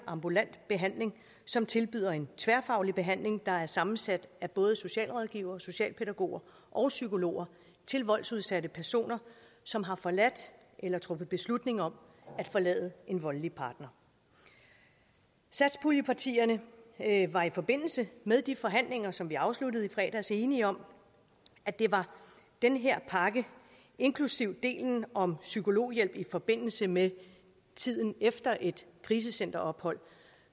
ambulant behandling som tilbyder en tværfaglig behandling der er sammensat af både socialrådgivere socialpædagoger og psykologer til voldsudsatte personer som har forladt eller truffet beslutning om at forlade en voldelig partner satspuljepartierne var i forbindelse med de forhandlinger som vi afsluttede i fredags enige om at det var den her pakke inklusive delen om psykologhjælp i forbindelse med tiden efter et krisecenterophold